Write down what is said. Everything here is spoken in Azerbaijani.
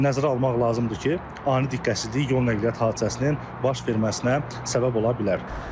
Nəzərə almaq lazımdır ki, ani diqqətsizlik yol nəqliyyat hadisəsinin baş verməsinə səbəb ola bilər.